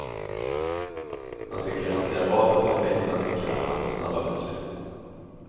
Han ska kunna hantera vapen perfekt och han ska kunna fatta snabba beslut.